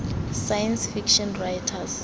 science fiction writers